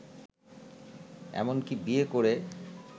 এমনকি বিয়ে করে